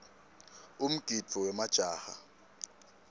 umgidvo wemajaha